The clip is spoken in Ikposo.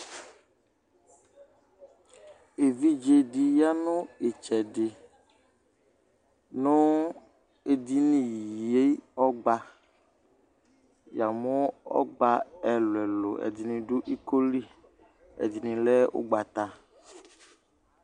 evidzedɩ ya nʊ itsɛdɩ, nʊ edini yɛ, ya mʊ ɔgba ɛlʊɛlʊ ɛdɩnɩ dʊ iko li, ɛdɩnɩ lɛ ugbata,